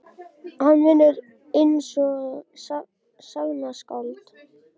Hann vinnur einsog sagnaskáld.